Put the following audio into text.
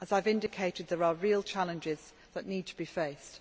As I have indicated, there are real challenges that need to be faced.